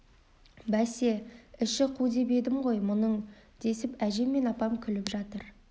бәсе іші қу деп едім ғой мұның десіп әжем мен апам күліп жатыр